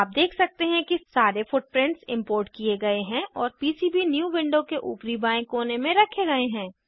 आप देख सकते हैं कि सारे फुटप्रिंट्स इम्पोर्ट किये गए हैं और पीसीबीन्यू विंडो के ऊपरी बाएं कोन में रखे गए हैं